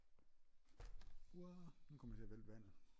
Arrr nu kom jeg til og vælte vandet